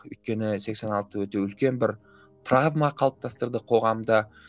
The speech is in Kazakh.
өйткені сексен алты өте үлкен бір травма қалыптастырды қоғамда